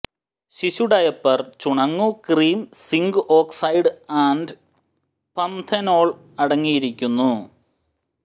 ശിശു ഡയപ്പർ ചുണങ്ങു cream zinc oxide and panthenol അടങ്ങിയിരിക്കുന്നു